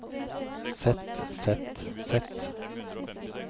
sett sett sett